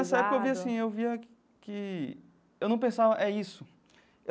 Nessa época eu via assim eu via que... Eu não pensava... É isso.